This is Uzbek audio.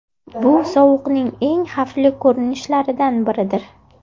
Bu sovuqning eng xavfli ko‘rinishlaridan biridir.